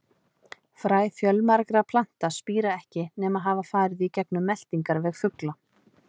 Fræ fjölmargra plantna spíra ekki nema hafa farið í gegnum meltingarveg fugla.